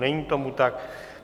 Není tomu tak.